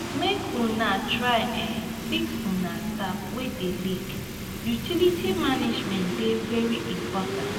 make una try um fix una tap wey dey leak utilities management dey very important.